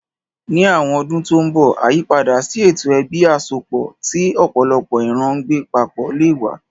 Ní àwọn ọdún tó ń bọ̀, àyípadà sí ètò ẹbí àsọpọ̀ tí ọ̀pọ̀lọpọ̀ ìran ń gbé papọ̀ lè wà.